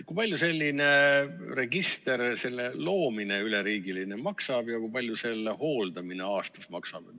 Kui palju sellise üleriigilise registri loomine maksab ja kui palju selle hooldamine maksab?